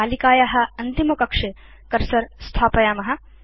तालिकाया अन्तिमकक्षे कर्सर स्थापयाम